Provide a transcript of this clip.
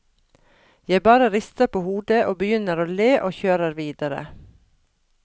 Jeg bare rister på hodet og begynner å le og kjører videre.